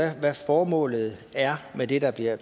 af hvad formålet er med det der bliver